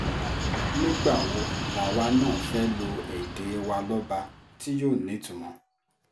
nígbà wo làwa náà fẹ́ẹ́ lo èdè wa lọ́ba tí yóò nítumọ̀